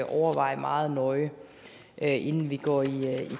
overveje meget nøje inden vi går i